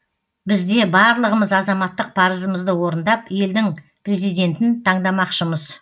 бізде барлығымыз азаматтық парызымызды орындап елдің президентін таңдамақшымыз